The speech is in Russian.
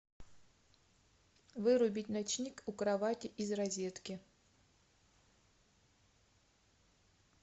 вырубить ночник у кровати из розетки